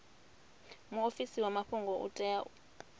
muofisi wa mafhungo u tea